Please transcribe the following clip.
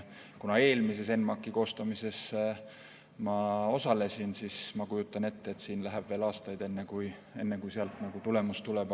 Kuna eelmise ENMAK-i koostamises ma osalesin, siis ma kujutan ette, et siin läheb veel aastaid, enne kui sealt tulemus tuleb.